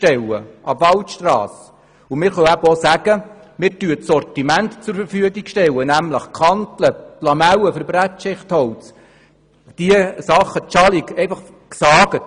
Wir können aber auch sagen, wir stellen das Sortiment zur Verfügung, nämlich Kanteln, Lamellen für Brettschichtholz oder die bereits gesägte Schalung.